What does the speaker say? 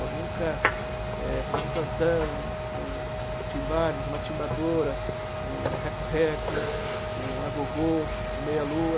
Eu nunca é... Por exemplo, um tantã, um um um timbales, uma timbadora, um reco-reco, um agogô, um meia-lua...